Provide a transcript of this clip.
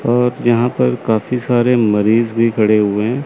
और यहां पर काफी सारे मरीज भी खड़े हुए--